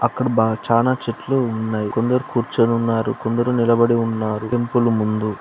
అక్కడ బ చానా చెట్లు ఉన్నాయి. కొందరు కూర్చుని ఉన్నారు. కొందరు నిలబడి ఉన్నారు టెంపుల్ ముందు--